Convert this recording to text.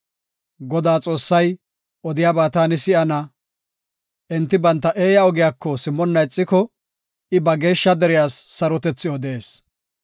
Godaa Xoossay odiyaba taani si7ana; enti banta eeya ogiyako simmonna ixiko, I ba geeshsha deriyas sarotethi odees.